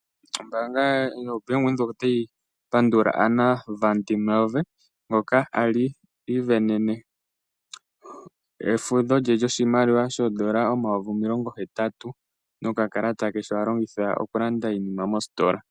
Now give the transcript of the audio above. Ombaanga yoBank Windhoek otayi pandula Anna van der Merwe ngoka a li i ivenene efudho lye lyoshimaliwa shoondola omayovi omilongo hetatu nokakalata ke sho a longitha okulanda iinima ye mositola.